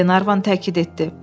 Glenarvan təkid etdi.